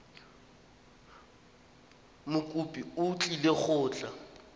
mokopi o tlile go tla